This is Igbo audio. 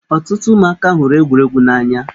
Ọtụtụ ụmụaka hụrụ egwuregwu n'anya.